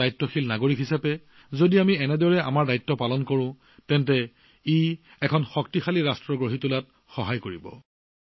এজন দায়িত্বশীল নাগৰিক হিচাপে যদি আমি এনেদৰে আমাৰ কৰ্তব্য পালন কৰিব পাৰো তেন্তে ই এক শক্তিশালী জাতি গঢ়ি তোলাত অতি ফলপ্ৰসূ বুলি প্ৰমাণিত হব